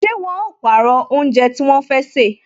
Ṣé wọn ó pàrọ̀ oúnjẹ tí wọn fẹ́ sè